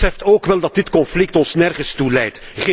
U beseft ook wel dat dit conflict ons nergens toe leidt.